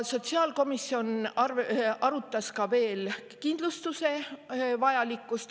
Sotsiaalkomisjon arutas veel kindlustuse vajalikkust.